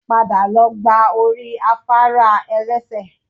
Padà lọ gba orí afárá ẹ̀lẹ́sẹ̀